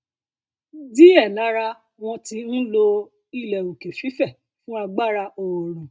diẹ lára um wọn um ti ń lo ilẹ òkè fífẹ fún agbára oòrùn